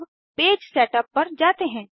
अब page setup पर जाते हैं